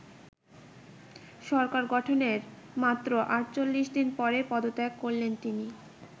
সরকার গঠনের মাত্র আটচল্লিশ দিন পরেই পদত্যাগ করলেন তিনি।